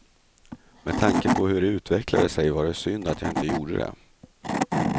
Med tanke på hur det utvecklade sig var det synd att jag inte gjorde det.